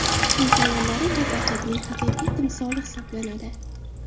Hind ayollari – latofatning haqiqiy timsoli hisoblanadi.